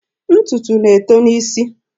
Ntụtụ na-eto n'isi.